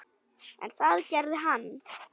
En það gerði hann.